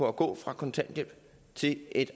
at gå fra kontanthjælp til et